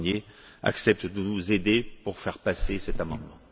Barnier, acceptent de nous aider pour faire passer cet amendement.